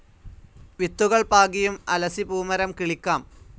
വിത്തുകൾ പാകിയും അലസിപൂമരം കിളിക്കാം.